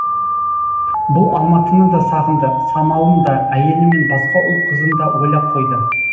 бұл алматыны да сағынды самалын да әйелі мен басқа ұл қызын да ойлап қойды